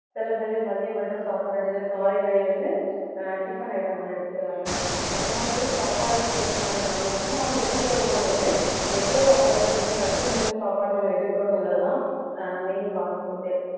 சில பேரு மதியம் மட்டும் சாப்பாடு எடுத்து காலை வேளை வந்து ஆஹ் tiffin item மாதிரி எடுத்துக்கிறாங்க அந்த மாதிரி சாப்பாடு change பண்ணாலும் நம்ம வந்து எடுக்கிற உணவு வந்து எவ்வளவு ஆரோக்கியமும் சத்து நிறைந்த சாப்பாடை நம்ம எடுக்கிறோம்னு உள்ளதுதான் ஆஹ் main concept